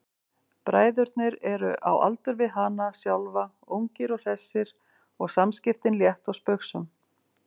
Bræðurnir eru á aldur við hana sjálfa, ungir og hressir og samskiptin létt og spaugsöm.